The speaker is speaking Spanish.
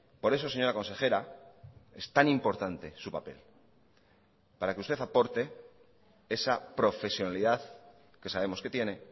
por eso señora consejera es tan importante su papel para que usted aporte esa profesionalidad que sabemos que tiene